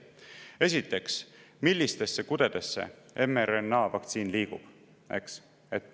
Esiteks, millistesse kudedesse mRNA-vaktsiin liigub, eks?